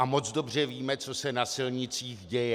A moc dobře víme, co se na silnicích děje.